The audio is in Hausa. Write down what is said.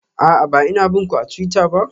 A'a, ba ina bin ku a twitter ba.